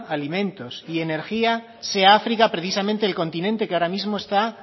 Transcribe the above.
alimentos y energía sea áfrica precisamente el continente que ahora mismo está